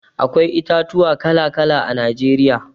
Akwai itatuwa kala-kala a Najeriya.